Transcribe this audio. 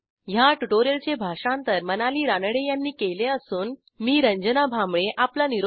ह्या ट्युटोरियलचे भाषांतर मनाली रानडे यांनी केले असून मी रंजना भांबळे आपला निरोप घेते160